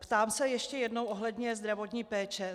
Ptám se ještě jednou ohledně zdravotní péče.